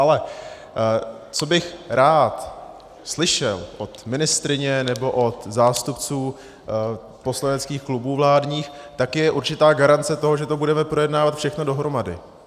Ale co bych rád slyšel od ministryně nebo od zástupců poslaneckých klubů vládních, tak je určitá garance toho, že to budeme projednávat všechno dohromady.